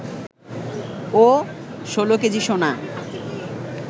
ও ১৬ kg সোনা